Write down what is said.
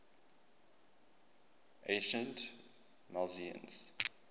ancient milesians